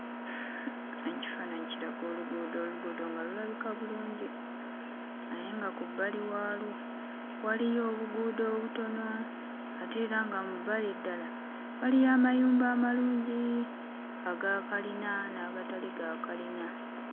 Ekifaananyi kiraga oluguudo, oluguudo nga lulabika bulungi naye nga ku bbali waalwo waliyo obuguudo obutono ate era nga mu bbali ddala waliyo amayumba amalungi aga kalina n'agatali ga kalina.